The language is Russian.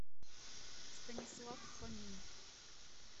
станислав фомин